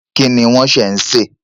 Kí ni wọ́n ṣẹ̀ ń se?